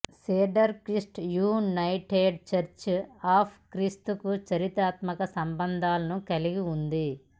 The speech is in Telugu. cedar Crest United Church of క్రీస్తుకు చారిత్రాత్మక సంబంధాలను కలిగి ఉంది